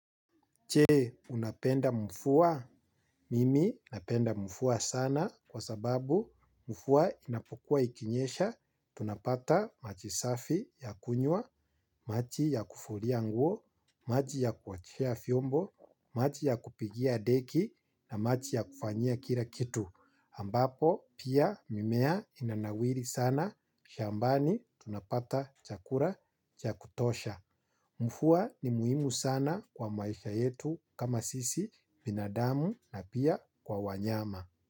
Je unapenda mvua? Mimi napenda mvua sana kwa sababu mvua inapokuwa ikinyesha, tunapata maji safi ya kunywa, maji ya kufulia nguo, maji ya kuoshea vyombo, maji ya kupigia deki na maji ya kufanyia kila kitu ambapo pia mimea inanawiri sana. Shambani tunapata chakula cha kutosha. Mvua ni muhimu sana kwa maisha yetu kama sisi binadamu na pia kwa wanyama.